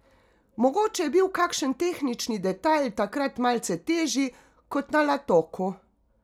Mogoče je bil kakšen tehnični detajl takrat malce težji kot na Latoku.